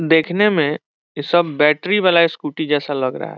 देखने में ये सब बैटरी वाला स्कूटी जैसा लग रहा है ।